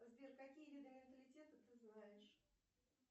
сбер какие виды менталитета ты знаешь